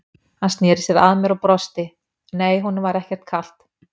Hann sneri sér að mér og brosti, nei, honum var ekkert kalt.